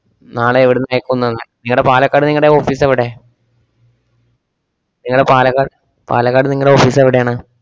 നാളെ എവിടുന്ന് അയക്കൂന്നാന്ന്? ങ്ങടെ പാലക്കാട് നിങ്ങടെ office എവിടെ? ങ്ങടെ പാലക്കാട് പാലക്കാട് നിങ്ങടെ office എവിടേണ്?